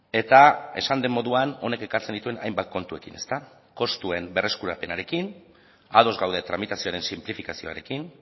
eta esan den moduan honek ekartzen dituen hainbat kontuekin kostuen berreskurapenarekin ados gaude tramitazioaren sinplifikazioarekin